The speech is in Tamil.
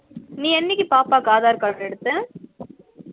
நீ எனக்கி பாப்பாக்கு aadhar card எடுத்த